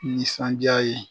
Nisandiya ye